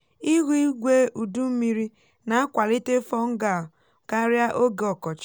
ihu igwe udu mmiri na-akwalite fungal karịa oge ọkọchị.